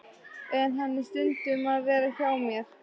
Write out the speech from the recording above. En hann á stundum að vera hjá mér.